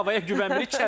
Havaya güvənmirik.